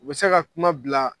U bɛ se ka kuma bila